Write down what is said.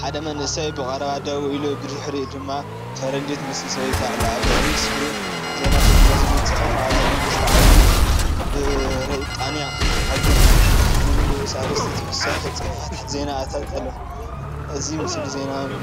ሓደ መንእሰይ ብቐረባ ደው ኢሉ፡ ብድሕሪኡ ድማ ፈረንጂ ትመስል ሰበይቲ ኣላ። ኣብ ላዕሊ ስክሪን "ዜና ትግርኛ ዝብል ጽሑፍ ኣሎ። "መንግስቲ ዓባይ ብሪጣንያ ሓግዙ" ዝብል ንኡስ ኣርእስቲን ተወሳኺ ጽሑፋት ዜናን ኣሎ። አዚ ምስሊ ዜናዊን